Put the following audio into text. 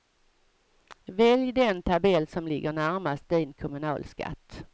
Välj den tabell som ligger närmast din kommunalskatt.